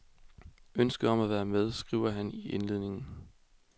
Ønsket om at være med, skriver han i indledningen.